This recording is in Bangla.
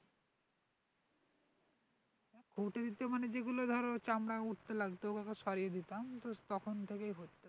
খুটে দিতে মানে যেগুলো ধরো চামড়া উঠতে লাগতো ওইগুলো সরিয়ে দিতাম তো তখন থেকেই